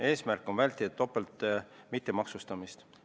Eesmärk on vältida topeltmittemaksustamist.